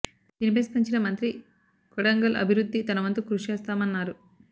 దీనిపై స్పంచిన మంత్రి కొడంగల్ అభివృద్ధి తనవంతు కృషి చేస్తామన్నా రు